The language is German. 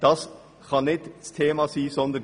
Das kann nicht das Thema sein.